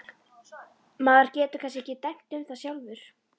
Maður getur kannski ekki dæmt um það sjálfur.